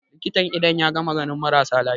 likitan idon ya gama ganin marasa lafiya